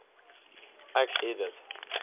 ek het dit